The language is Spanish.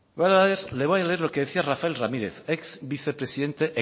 le voy a leer lo que decía rafael ramírez ex vicepresidente